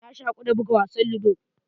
Na shaku da buga wasan ludo.